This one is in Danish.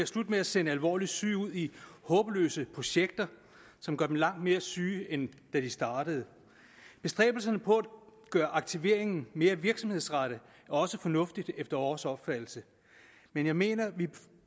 slut med at sende alvorligt syge ud i håbløse projekter som gør dem langt mere syge end de de startede bestræbelserne på at gøre aktiveringen mere virksomhedsrettet er også fornuftige efter vores opfattelse men jeg mener vi